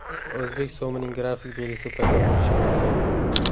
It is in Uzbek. O‘zbek so‘mining grafik belgisi paydo bo‘lishi mumkin.